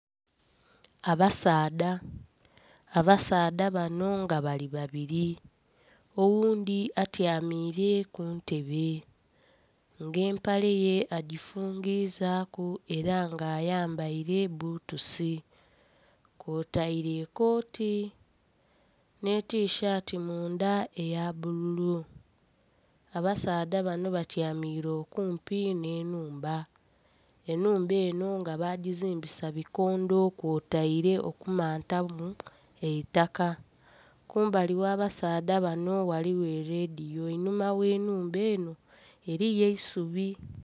Abasaadha, abasaadha bano nga bali babiri oghundhi atyamire kuntebe nga empale ye agifungizaku era nga ayambaire bbutusi kwotaire ekooti n'etishati mundha eya bbululu. Abasaadha bano batyamire okumpi n'enhumba, enhumba eno nga bagizimbisa bikondo kwotaire okumantamu eitaka kumbali gh'abasaadha bano ghaligho erediyo einhuma gh'enhumba eno eriyo eisubi.